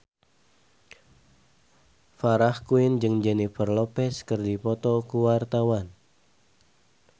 Farah Quinn jeung Jennifer Lopez keur dipoto ku wartawan